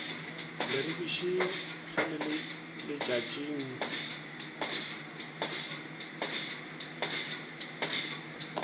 leribiši ge le le letšatšing